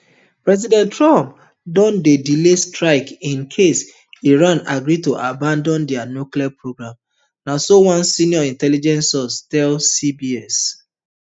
president trump don dey delay strikes in case iran agree to abandon dia nuclear programme na so one senior intelligence source tell cbs